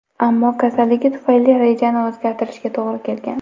Ammo kasalligi tufayli rejani o‘zgartirishga to‘g‘ri kelgan.